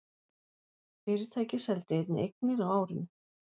Fyrirtækið seldi einnig eignir á árinu